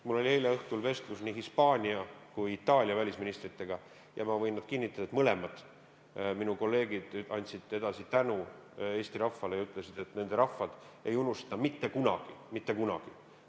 Mul oli eile õhtul vestlus nii Hispaania kui ka Itaalia välisministriga ja ma võin kinnitada, et mõlemad minu kolleegid andsid edasi tänu Eesti rahvale ja ütlesid, et nende rahvad ei unusta mitte kunagi – mitte kunagi!